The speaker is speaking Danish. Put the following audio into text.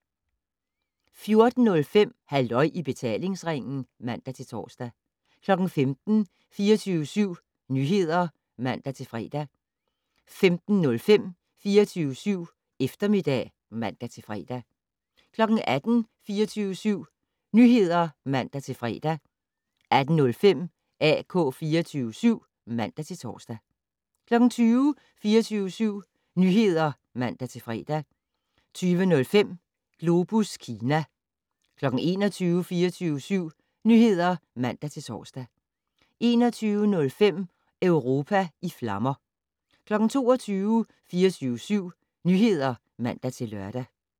14:05: Halløj i betalingsringen (man-tor) 15:00: 24syv Nyheder (man-fre) 15:05: 24syv Eftermiddag (man-fre) 18:00: 24syv Nyheder (man-fre) 18:05: AK 24syv (man-tor) 20:00: 24syv Nyheder (man-fre) 20:05: Globus Kina 21:00: 24syv Nyheder (man-tor) 21:05: Europa i flammer 22:00: 24syv Nyheder (man-lør)